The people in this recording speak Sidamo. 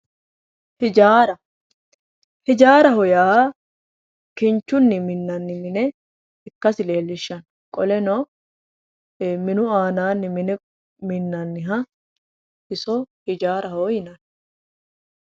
Hijaara, hijaaraho yaa kinchunni minanni mine ikkasi leellishshanno qoleno, minu aananni mine lende minanniha iso ijaaraho yinanni